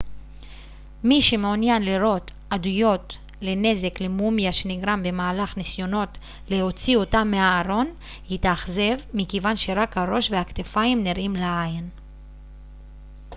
מי שמעוניין לראות עדויות לנזק למומיה שנגרם במהלך ניסיונות להוציא אותה מהארון יתאכזב מכיוון שרק הראש והכתפיים נראים לעין